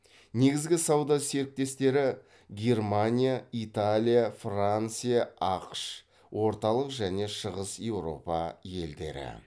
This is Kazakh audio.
негізгі сауда серіктестері германия италия франция ақш орталық және шығыс еуропа елдері